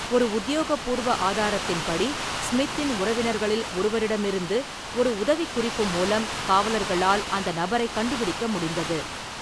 ஒரு உத்தியோகபூர்வ ஆதாரத்தின்படி, ஸ்மித்தின் உறவினர்களில் ஒருவரிடமிருந்து ஒரு உதவிக்குறிப்பு மூலம் காவலர்களால் அந்த நபரைக் கண்டுபிடிக்க முடிந்தது.